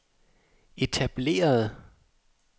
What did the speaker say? etablerede